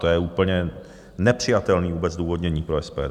To je úplně nepřijatelné vůbec zdůvodnění pro SPD.